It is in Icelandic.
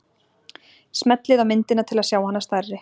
smellið á myndina til að sjá hana stærri